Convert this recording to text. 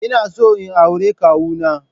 Ina so in aure kawu na.